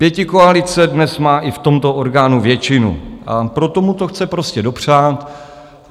Pětikoalice dnes má i v tomto orgánu většinu, a proto mu to chce prostě dopřát.